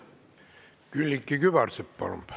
Külliki Kübarsepp, palun!